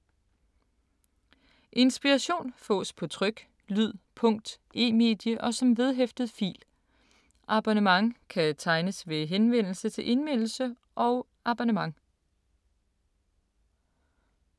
Inspiration fås på tryk, lyd, punkt, e-medie og som vedhæftet fil. Abonnement kan tegnes ved henvendelse til Indmeldelse og abonnement.